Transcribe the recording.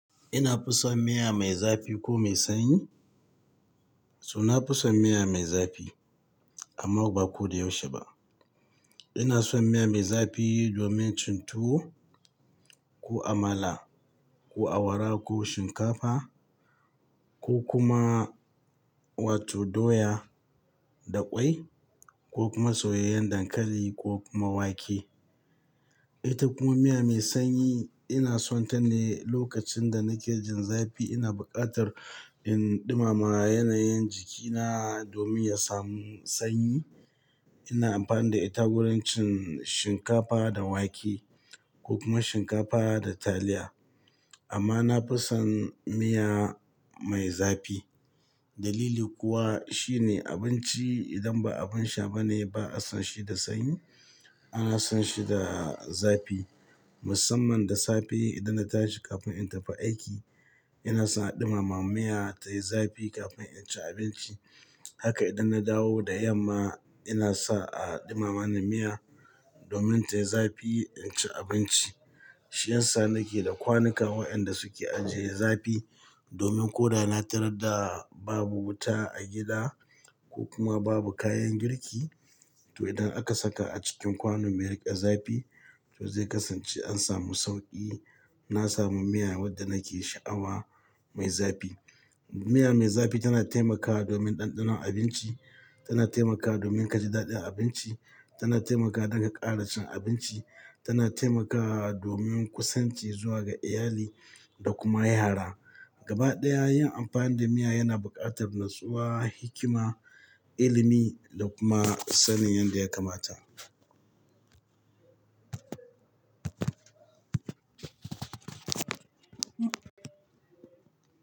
Ina fison miya mai zafi ko mai sanyi? So na fison miya mai zafi amma ba ko da yaushe ba. Ina son miya mai zafi domin cin tuwo ko amala ko awara ko shinkafa ko kuma wato doya da ƙwai ko kuma soyayen dankali ko kuma wake. Ita kuma miya mai sanyi ina son ta ne lokacin da nake jin zafi ina buƙatar in ɗumama yanayin jikina domin ya samu sanyi. Ina amfani da ita wurin cin shinkafa da wake ko kuma shinkafa da taliya. Amma na fi son miya mai zafi. Dalili kuwa shine abinci idan ba abin sha ba ne ba a san shi da sanyi, ana san shi da zafi musamman da safe idan na tashi kafin in tafi aiki ina sa a ɗumama miya tayi zafi kafin in ci abinci. Haka idan na dawo da yamma ina sa a ɗumama ni miya domin tayi zafi in ci abinci. Shi yasa nake da kwanuka waɗanda suke ajiye zafi domin ko da na tarar da babu wuta a gida ko kuma babu kayan girki to idan aka saka a cikin kwano me riƙe zafi to zai kasance an samu sauƙi. Na samu miya wadda nake sha'awa mai zafi. Miya mai zafi tana taimakawa domin ɗanɗanon abinci, tana taimakawa domin kaji daɗin abinci, tana taimakawa don ƙara cin abinci, tana taimakawa domin kusanci zuwa ga iyali da kuma yara. Gaba ɗaya yin amfani da miya yana buƙatar natsuwa, hikima, ilimi da kuma sanin yadda ya kamata.